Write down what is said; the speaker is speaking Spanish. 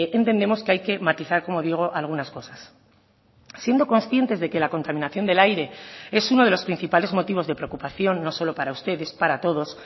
entendemos que hay que matizar como digo algunas cosas siendo conscientes de que la contaminación del aire es uno de los principales motivos de preocupación no solo para ustedes para todos